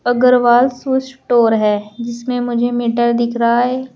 Agarwal shoe store है जिसमें मुझे मीटर दिख रहा है।